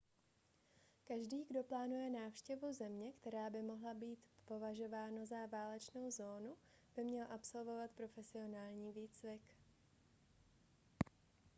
každý kdo plánuje návštěvu země která by mohla být považována za válečnou zónu by měl absolvovat profesionální výcvik